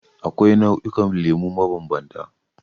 Akwai nau'ikan lemu mabambanta.